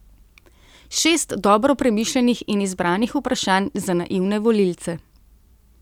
Šest dobro premišljenih in izbranih vprašanj za naivne volilce.